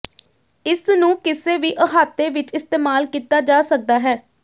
ਇਸ ਨੂੰ ਕਿਸੇ ਵੀ ਅਹਾਤੇ ਵਿਚ ਇਸਤੇਮਾਲ ਕੀਤਾ ਜਾ ਸਕਦਾ ਹੈ